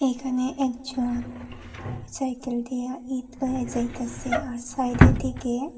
এখানে একজন সাইকেল দিয়া ইঁট লইয়া যাইতাসে আর সাইডের দিকে--